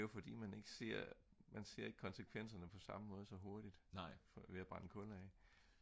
det er jo fordi man ikke ser konsekvenserne på samme måde så hurtigt ved at brænde kul af